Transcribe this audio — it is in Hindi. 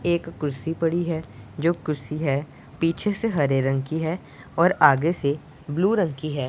एक कुर्सी पड़ी है जो कुर्सी है पीछे से हरे रंग की है और आगे से ब्लू रंग की है।